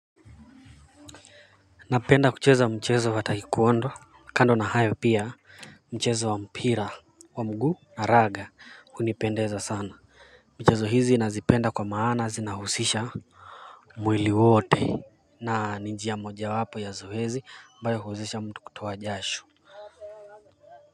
Naprmda kucheza mchezo wa taikondo kando na hayo pia mchezo wa mpira wa mguu na raga unipendeza sana mchezo hizi nazipenda kwa maana zinahusisha mwili wote na njia moja wapo ya zoezi ambao huwezesha mtu kutoa jasho.